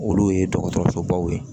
Olu ye dɔgɔtɔrɔsobaw ye